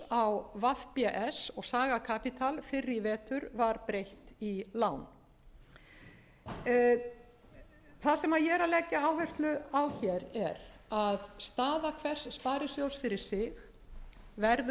á vbs og saga capital fyrr í vetur var breytt í lán það sem ég er að leggja áherslu á er að staða hvers sparisjóðs fyrir sig verður metin